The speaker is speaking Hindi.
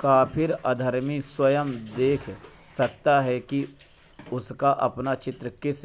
काफ़िर अधर्मी स्वयं देख सकते हैं कि उनका अपना चित्र किस